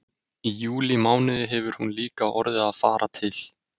Í júlímánuði hefur hún líka orðið að fara til